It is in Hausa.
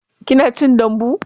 Kina cin dambu?